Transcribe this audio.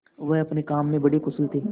वह अपने काम में बड़े कुशल थे